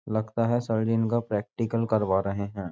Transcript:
लगता है सर्जिन का प्रैक्टिकल करवा रहे हैं।